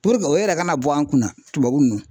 puruke o yɛrɛ kana bɔ an kunna tubabu nunnu